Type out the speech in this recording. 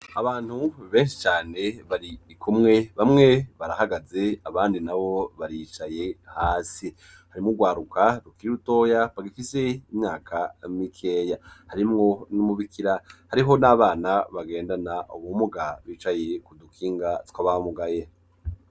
Abantu benshi cane, bari kumwe, bamwe barahagaze abandi nabo baricaye hasi; harimwo urwaruka rukiri rutoya bagifise imyaka mikeya, harimwo n'umubikira, hariho n'abana bagendana ubumuga bicaye ku dukinga tw'abamugaye.